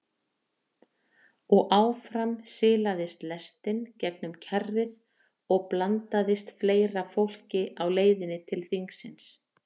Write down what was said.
Og áfram silaðist lestin gegnum kjarrið og blandaðist fleira fólki á leiðinni til þingsins.